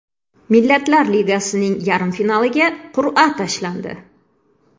Millatlar Ligasining yarim finaliga qur’a tashlandi.